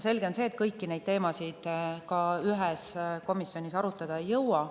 Selge on see, et kõiki neid teemasid ühes komisjonis arutada ei jõua.